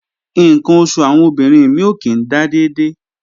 Ǹkan oṣù àwọn obìnrin mí ò kí ń dà dédé